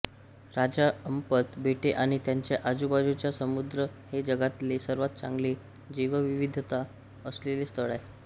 राजा Ampat बेटे आणि त्यांच्या आजूबाजूचा समुद्र हे जगातले सर्वात चांगले जैवविविधता असलेले स्थळ आहे